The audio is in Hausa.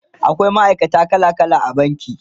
akwai ma'aikata kala kala a banki